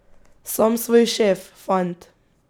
Sam svoj šef, fant.